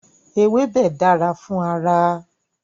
Ewébẹ̀ dára fún ara.